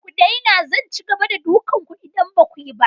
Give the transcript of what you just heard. Ku daina! Zan ci gaba da dukan ku idan ba ku yi ba.